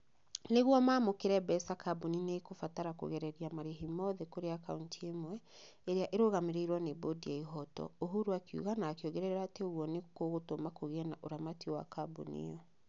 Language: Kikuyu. "Nĩguo mamũkĩre mbeca kambuni nĩ ikũbatara kũgereria marĩhi mothe kũrĩ akaunti ĩmwe, ĩrĩa ĩrĩrũgamagĩrĩrwo nĩ bũndi ya ihooto" ũhuru akiuga na akiongerera atĩ ũguo nĩ kũgũtũma kũgĩe na ũramati wa kambuni ĩyo.